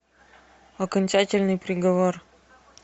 окончательный приговор